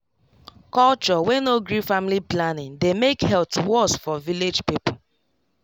culture wey no gree family planning dey make health worse for village people